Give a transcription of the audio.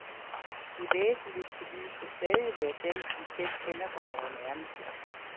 De væsentligste lys vil stadig være dem, vi selv tænder for vore nærmeste.